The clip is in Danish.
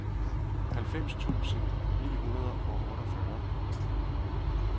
halvfems tusind ni hundrede og otteogfyrre